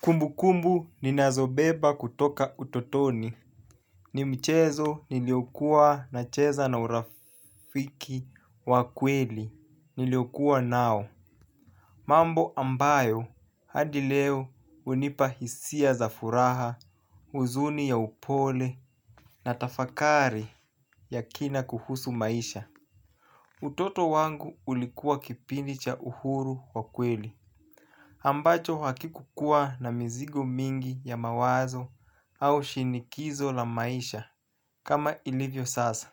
Kumbu kumbu ninazobeba kutoka utotoni. Ni mchezo niliokuwa nacheza na urafiki wa kweli niliokuwa nao. Mambo ambayo hadi leo hunipa hisia za furaha, huzuni ya upole na tafakari ya kina kuhusu maisha. Utoto wangu ulikuwa kipindi cha uhuru wa kweli. Ambacho hakikukuwa na mizigo mingi ya mawazo au shinikizo la maisha kama ilivyo sasa.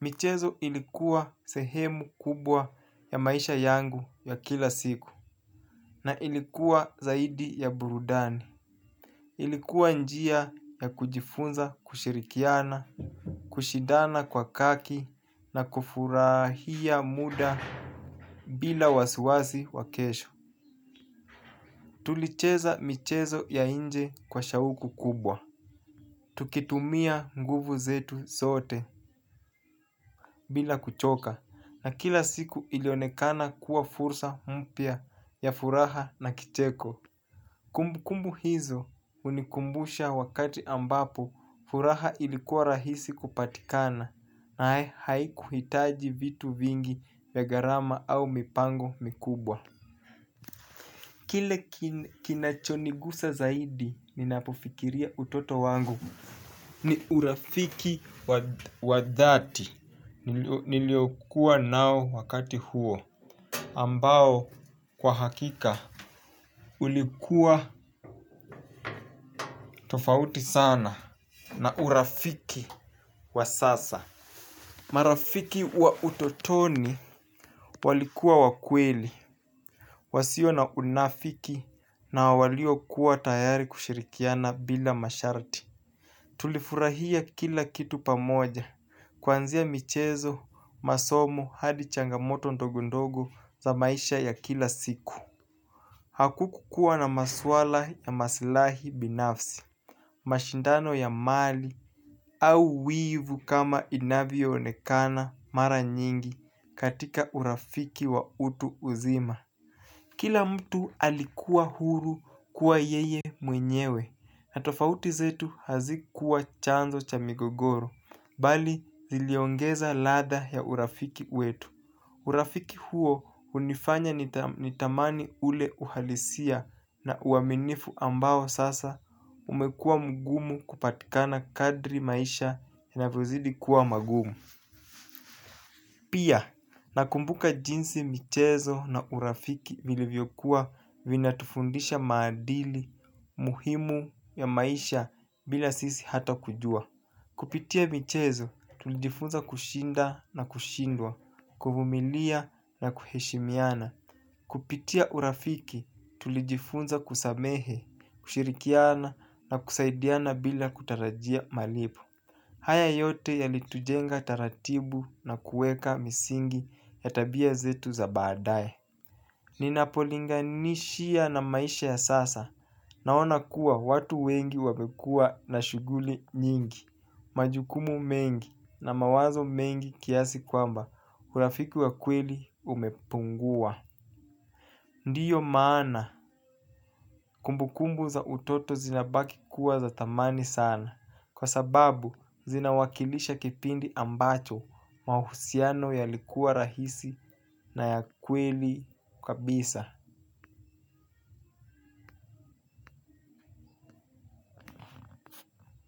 Michezo ilikuwa sehemu kubwa ya maisha yangu ya kila siku na ilikuwa zaidi ya burudani. Ilikuwa njia ya kujifunza kushirikiana, kushidana kwa haki na kufurahia muda bila wasiwasi wa kesho. Tulicheza michezo ya nje kwa shauku kubwa. Tukitumia nguvu zetu zote. Bila kuchoka na kila siku ilionekana kuwa fursa mpya ya furaha na kicheko. Kumbu kumbu hizo hunikumbusha wakati ambapo furaha ilikuwa rahisi kupatikana na haikuhitaji vitu vingi ya gharama au mipango mikubwa. Kile kinachonigusa zaidi ninapofikiria utoto wangu ni urafiki wa dhati nilio kuwanao wakati huo ambao kwa hakika ulikuwa tofauti sana na urafiki wa sasa. Marafiki wa utotoni walikuwa wa kweli, wasio na unafiki na walio kuwa tayari kushirikiana bila masharti. Tulifurahia kila kitu pamoja. Kuanzia michezo, masomo, hadi changamoto ndogo ndogo za maisha ya kila siku. Hakukukua na maswala ya masilahi binafsi. Mashindano ya mali au wivu kama inavyoonekana mara nyingi katika urafiki wa utu uzima. Kila mtu alikuwa huru kuwa yeye mwenyewe. Na tofauti zetu hazikuwa chanzo cha migogoro bali ziliongeza ladha ya urafiki wetu. Urafiki huo hunifanya nitamani ule uhalisia na uaminifu ambao sasa umekuwa mgumu kupatikana kadiri maisha yanavyozidi kuwa magumu. Pia, nakumbuka jinsi michezo na urafiki vilivyokuwa vina tufundisha maadili muhimu ya maisha bila sisi hata kujua. Kupitia michezo, tulijifunza kushinda na kushindwa, kuvumilia na kuheshimiana. Kupitia urafiki, tulijifunza kusamehe, kushirikiana na kusaidiana bila kutarajia malipo. Haya yote yalitujenga taratibu na kuweka misingi ya tabia zetu za baadae ninapolinganisha na maisha ya sasa. Naona kuwa watu wengi wamekua na shughuli nyingi. Majukumu mengi na mawazo mengi kiasi kwamba urafiki wa kweli umepungua. Ndiyo maana kumbukumbu za utoto zinabaki kuwa za thamani sana. Kwa sababu zina wakilisha kipindi ambacho mahusiano yalikuwa rahisi na ya kweli kabisa.